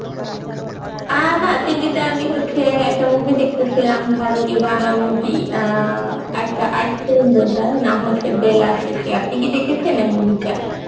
অ্যাঁ না TV তে আমি হচ্ছে একটা movie দেখতেসিলাম ভারতীয় বাংলা movie অ্যাঁ একটা art film বোঝায় নাম হচ্ছে বেলাশেষে, আপনি কি দেখেছেন এই movie টা?